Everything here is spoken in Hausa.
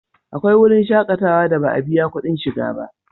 Akwai wurin shakatawa da ba a biya kudin shiga da